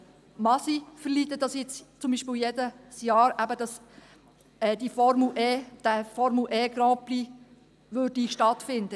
Mag sie ertragen, dass zum Beispiel dieser Formel-E-Grand-Prix jedes Jahr in der Stadt Bern stattfände?